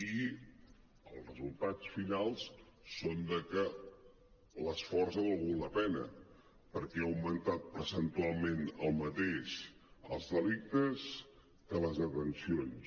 i els resul·tats finals són que l’esforç ha valgut la pena perquè han augmentat percentualment el mateix els delictes que les detencions